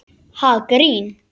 Ha, grín?